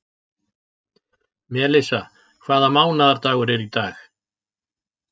Melissa, hvaða mánaðardagur er í dag?